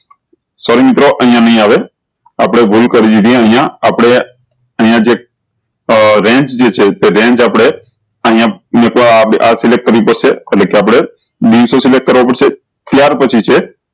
sorry મિત્રો અયીયા નહી આવે આપળે ભૂલ જરી દીધી અયીયા આપળે અયીયા જે range જે છે તો range આપળે અયીયા મુકવા આ select કરવી પડશે એટલે કે આપળે select કરવા પડશે ત્યાર પછી છે